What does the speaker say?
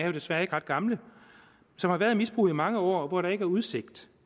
jo desværre ikke ret gamle som har været i misbrug i mange år og hvor der ikke er udsigt